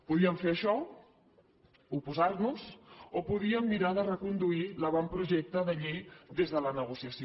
podíem fer això oposar noshi o podíem mirar de reconduir l’avantprojecte de llei des de la negociació